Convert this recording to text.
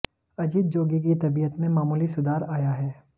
अजीत जोगी की तबीयत में मामूली सुधार आया है